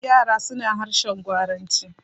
yara suna harshen gwaranci.